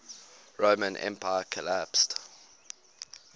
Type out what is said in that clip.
roman empire collapsed